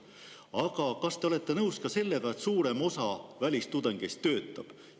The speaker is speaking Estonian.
Aga kas te olete nõus ka sellega, et suurem osa välistudengeist töötab?